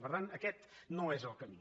per tant aquest no és el camí